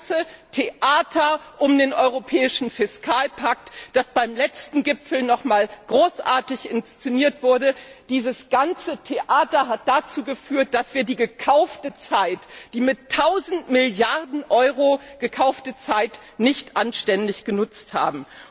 Das ganze Theater um den europäischen Fiskalpakt, das beim letzten Gipfel nochmals großartig inszeniert wurde, hat dazu geführt, dass wir die gekaufte Zeit, die mit tausend Milliarden Euro gekaufte Zeit, nicht anständig genutzt haben.